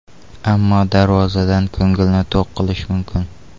Ammo darvozadan ko‘ngilni to‘q qilish mumkin.